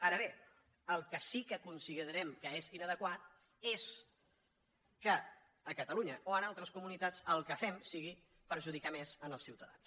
ara bé el que sí que considerem que és inadequat és que a catalunya o en altres comunitats el que fem sigui perjudicar més els ciutadans